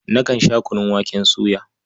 Nakan sha kunun waken soya.